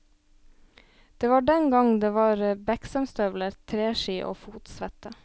Det var den gang det var beksømstøvler, treski og fotsvette.